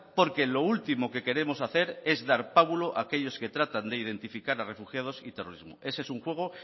porque lo último que queremos hacer es dar pábulo a aquellos que tratan de identificar a refugiados y terrorismo ese es un juego